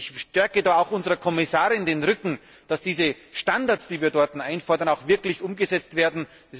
Ich stärke da auch unserer Kommissarin den Rücken, damit diese Standards, die wir dort einfordern, auch wirklich umgesetzt werden.